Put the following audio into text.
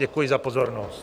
Děkuji za pozornost.